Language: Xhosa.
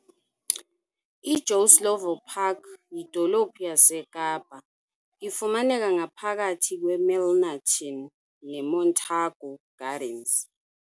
I Joe Slovo Park yidolophu yaseKapa, ifumaneka ngaphakathi kwe Milnerton ne Montargu Gardens.